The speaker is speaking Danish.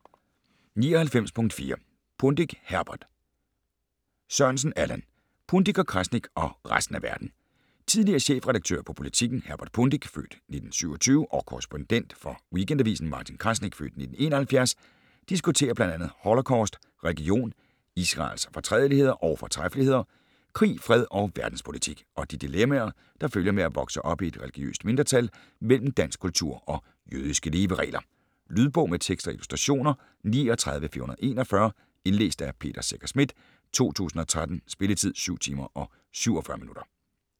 99.4 Pundik, Herbert Sørensen, Allan: Pundik & Krasnik - og resten af verden Tidligere chefredaktør på Politiken, Herbert Pundik (f. 1927), og korrespondent for Weekendavisen, Martin Krasnik (f. 1971), diskuterer bl.a. holocaust, religion, Israels fortrædeligheder og fortræffeligheder, krig, fred og verdenspolitik - og de dilemmaer, der følger med at vokse op i et religiøst mindretal mellem dansk kultur og jødiske leveregler. Lydbog med tekst og illustrationer 39441 Indlæst af Peter Secher Schmidt, 2013. Spilletid: 7 timer, 47 minutter.